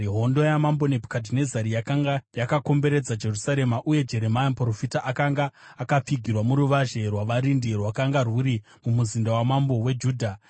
Hondo yamambo Nebhukadhinezari yakanga yakakomberedza Jerusarema, uye Jeremia muprofita akanga akapfigirwa muruvazhe rwavarindi rwakanga rwuri mumuzinda wamambo weJudha.